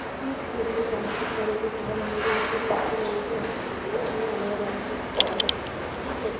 ಈ ಚಿತ್ರದಲ್ಲಿ ಕಾಣಿಸುತ್ತ ಇರುವುದು ಸಹ ನಮಗೆ ಚರ್ಚಿನ ರೀತಿ ಕಾಣಿಸುತ್ತಿದೆ. ಇದು ತುಂಬ ಹಳೆಯದಾದ ಚರ್ಚ್ ಇರಬಹುದು. ಈ ಚರ್ಚ್--